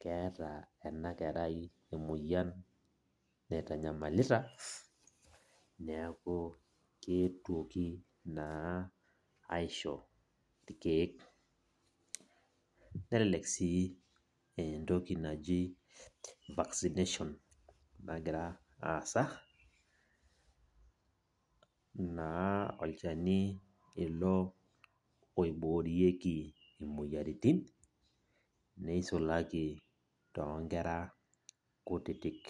keeta enakerai emoyian naitanyamalita, neeku keetuoki naa aisho irkeek. Nelelek si entoki naji vaccination nagira aasa, naa olchani ilo oiboorieki imoyiaritin, nisulaki tonkera kutitik.